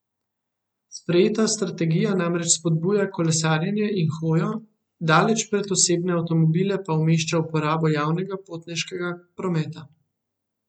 Sprejeta strategija namreč spodbuja kolesarjenje in hojo, daleč pred osebne avtomobile pa umešča uporabo javnega potniškega prometa.